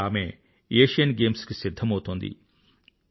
అక్కడ ఆమె Asian games కి సిధ్ధమౌతోంది